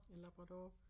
En labrador